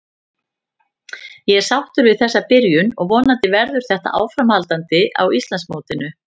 Ég er sáttur við þessa byrjun og vonandi verður þetta áframhaldandi á Íslandsmótinu.